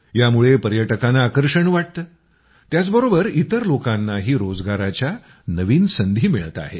यामुळे पर्यटकांना आकर्षण वाटतं त्याचबरोबर इतर लोकांनाही रोजगाराच्या नवीन संधी मिळत आहेत